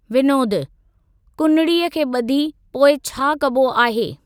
विनोदु: कुनड़ीअ खे ब॒धी पोइ छा कबो आहे?